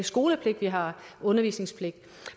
skolepligt vi har undervisningspligt